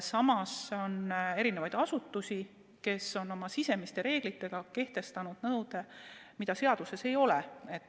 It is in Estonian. Samas on asutusi, kes on oma sisereeglitega kehtestanud nõude, mida seaduses ei ole.